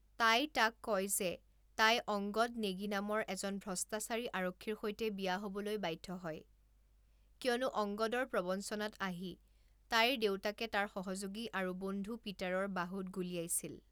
তাই তাক কয় যে তাই অংগদ নেগী নামৰ এজন ভ্ৰষ্টাচাৰী আৰক্ষীৰ সৈতে বিয়া হ'বলৈ বাধ্য হয়, কিয়নো অংগদৰ প্ৰৱঞ্চনাত আহি তাইৰ দেউতাকে তাৰ সহযোগী আৰু বন্ধু পিটাৰৰ বাহুত গুলীয়াইছিল।